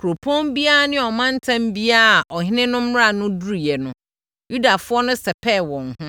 Kuropɔn biara ne ɔmantam biara a ɔhene no mmara no duruiɛ no, Yudafoɔ no sɛpɛɛ wɔn ho,